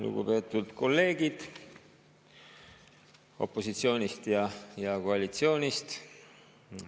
Lugupeetud kolleegid opositsioonist ja koalitsioonist!